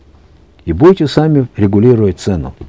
и будете сами регулировать цену